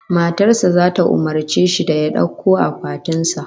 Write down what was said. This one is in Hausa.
Matar sa zata umurce shi da ya dauko akwatin sa